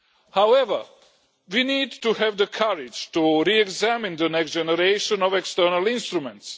However, we need to have the courage to re examine the next generation of external instruments.